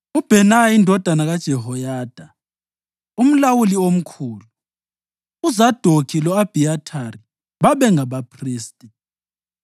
uBhenaya indodana kaJehoyada umlawuli omkhulu; uZadokhi lo-Abhiyathari babengabaphristi;